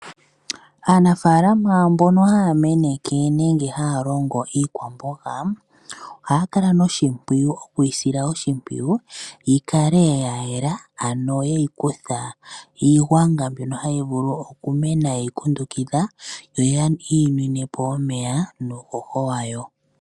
Aanafaalama mbono haya meneke nenge haya longo iikwamboga ohaya kala nokuyi sila oshimpwiyu yi kale ya yela ano ye yi kutha iigwanga mbyono hayi vulu okumena ye yi kundukidha yo yi yi nwine po omeya nuuhoho wayo.